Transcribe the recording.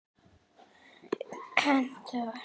Hentar það?